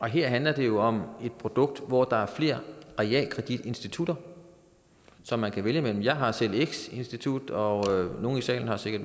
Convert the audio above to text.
her handler det jo om et produkt hvor der er flere realkreditinstitutter som man kan vælge imellem jeg har selv x institut og nogle i salen har sikkert